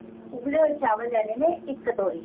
ਉਬਲੇ ਹੋਏ ਚਾਵਲ ਲੈਣੇ ਨੇ ਇੱਕ ਕਟੋਰੀ